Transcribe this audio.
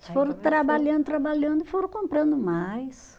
Eles foram trabalhando, trabalhando e foram comprando mais.